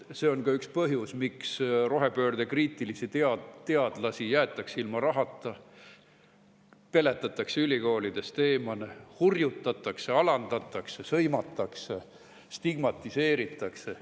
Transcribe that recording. See on ka üks põhjus, miks rohepöördekriitilisi teadlasi jäetakse ilma rahata, peletatakse ülikoolidest eemale, hurjutatakse, alandatakse, sõimatakse, stigmatiseeritakse.